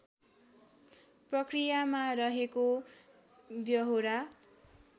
प्रक्रियामा रहेको व्यहोरा